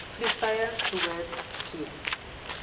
vliegtuie behoort c